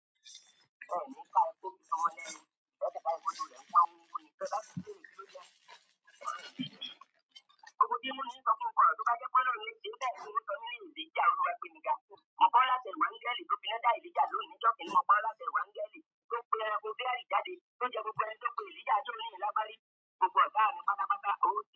Mo paa láṣẹ, máa ní áńgẹ́lì tí ó finá dá Elija lóhùn ní ijo kínní, mo paa láṣẹ fún áńgẹ́lì, kó pè ẹranko biari jáde kó jẹ gbogbo.